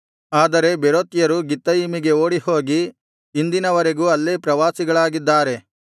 ಆದರೆ ಬೇರೋತ್ಯರು ಗಿತ್ತಯಿಮಿಗೆ ಓಡಿಹೋಗಿ ಇಂದಿನ ವರೆಗೂ ಅಲ್ಲೇ ಪ್ರವಾಸಿಗಳಾಗಿದ್ದಾರೆ